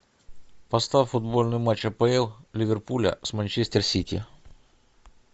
поставь футбольный матч апл ливерпуля с манчестер сити